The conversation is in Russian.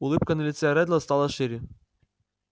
улыбка на лице реддла стала шире